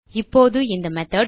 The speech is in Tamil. இப்போது இந்த மெத்தோட்